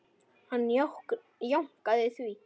Hann jánkaði því.